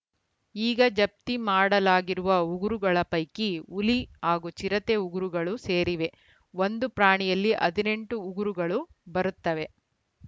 ಈಗ ಜಪ್ತಿ ಮಾಡಲಾಗಿರುವ ಉಗುರುಗಳ ಪೈಕಿ ಹುಲಿ ಹಾಗೂ ಚಿರತೆ ಉಗುರುಗಳು ಸೇರಿವೆ ಒಂದು ಪ್ರಾಣಿಯಲ್ಲಿ ಹದಿನೆಂಟು ಉಗುರುಗಳು ಬರುತ್ತವೆ